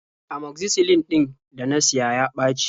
Amoxicillin ɗin da na siya ya ɓaci.